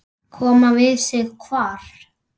Koma við sig hvar?